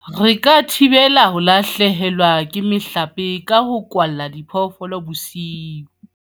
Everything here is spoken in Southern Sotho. Re ka thibela ho lahlehelwa ke mohlape ka ho kwalla diphoofolo bosiu.